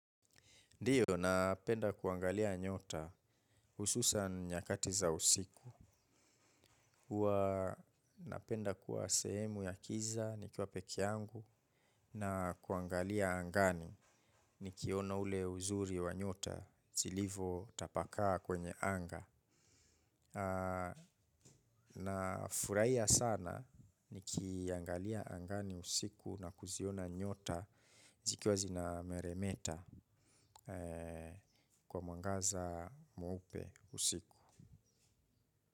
Ndiyo, napenda kuangalia nyota ususani nyakati za usiku. Uwa napenda kuwa sehemu ya kiza, nikiwa peke yangu, na kuangalia angani, nikiona ule uzuri wa nyota, jilivo tapakaa kwenye anga. Na furahia sana, nikiaangalia angani usiku na kuziona nyota, zikiwa zina meremeta kwa mwangaza mweupe usiku.